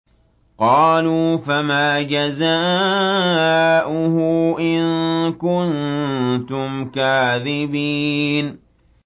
قَالُوا فَمَا جَزَاؤُهُ إِن كُنتُمْ كَاذِبِينَ